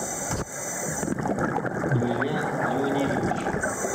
илья леонидович